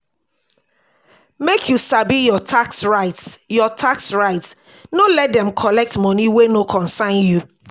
make you sabi your tax rights your tax rights no let dem collect money wey no concern you.